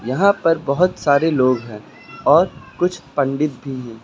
यहां पर बहुत सारे लोग है और कुछ पंडित भी है।